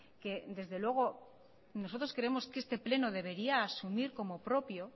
que desde luego nosotros creemos que este pleno debería asumir como propio